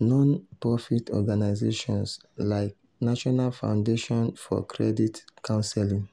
non-profit organizations like national foundation for credit counseling.